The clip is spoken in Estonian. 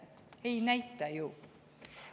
Ei näita ju.